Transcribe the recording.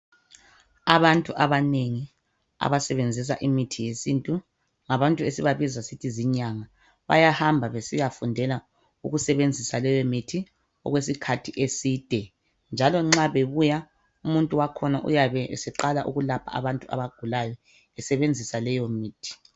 Abantu abanengi abasebenzisa imithi yesintu, ngabantu esibabiza sisithi zinyanga. Bayahamba besiyafundela ukusebenzisa leyomithi okwesikhathi eside, njalo nxa bebuya, umuntu wakhona uyabe eseqala ukulapha abantu abagulayo esebenzisa leyomithi.